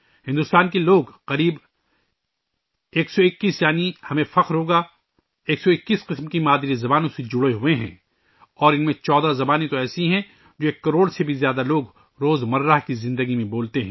بھارت کے لوگ، تقریباً 121، یعنی ہمیں فخر ہوگا کہ 121 قسم کی مادری زبانوں سے ہم جڑے ہوئے ہیں اور ان میں 14 زبانیں تو ایک کروڑ سے زیادہ لوگ روزمرہ کی زندگی میں بولتے ہیں